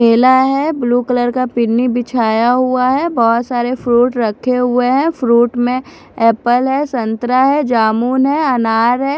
केला है blue colour का पिन्नी बिछाया हुआ है बहुत सारे फ्रूट रखे हुए हैं फ्रूट में एप्पल है संत्रा है जामुन है अनार है।